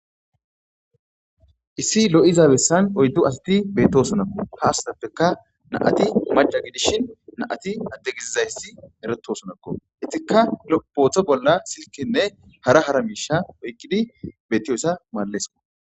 Issi lo'izabessan oyddo asati beettosonakko haasatappeka naati maja gidishin naati adde gizizayssi eretto sonakko ittika lo'booththo bolla silkenne hara hara miisha oykkidi bettiyossa maallesko.